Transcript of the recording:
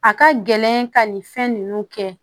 A ka gɛlɛn ka nin fɛn ninnu kɛ